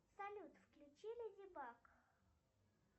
салют включи леди баг